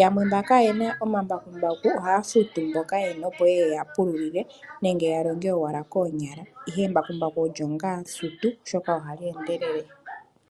Yamwe mba kayena omambakumbaku ohaya futu mboka yena opo ye ye yeya pululile nenge ya longe owala koonyala ihe embakumbaku olyo nga sutu oshoka ohali endelele.